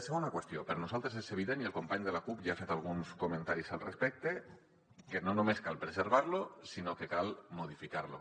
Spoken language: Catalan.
segona qüestió per nosaltres és evident i el company de la cup ja ha fet alguns comentaris al respecte que no només cal preservar lo sinó que cal modificar lo